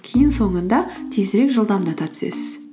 кейін соңында тезірек жылдамдата түсесіз